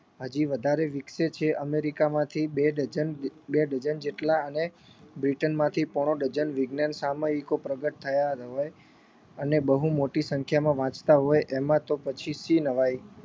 હજી વધારે વિકસે છે અમેરીકામાંથી બે dozen બે dozen જેટલા અને બ્રિટનમાંથી પોણો dozen વિજ્ઞાન સામયિકો પ્રગટ થયા હોય અને બહુ મોટી સંખ્યામાં વાંચતા હોય એમાં તો પછી શી નવાઈ